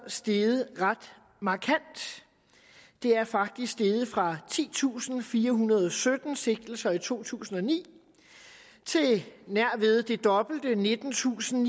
steget ret markant det er faktisk steget fra titusinde og firehundrede og sytten sigtelser i to tusind og ni til nær ved det dobbelte nittentusinde